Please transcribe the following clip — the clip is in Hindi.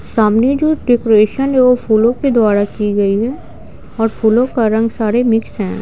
सामने जो डेकोरेशन है वह फूलों के द्वारा की गई है और फूलों का रंग सारे मिक्स हैं।